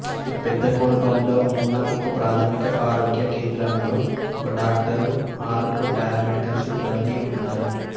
పెద్ద కోడప్గల్లో ఉన్న ఒకప్రాథమిక ఆరోగ్య కేంద్రంలో ఒక డాక్టరు ఆరుగురు పారామెడికల్ సిబ్బందీ ఉన్నారు